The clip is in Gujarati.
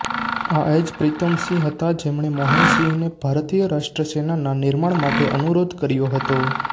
આ એજ પ્રિતમસિંહ હતા જેમણે મોહનસિંહને ભારતીય રાષ્ટ્રીય સેનાના નિર્માણ માટે અનુરોધ કર્યો હતો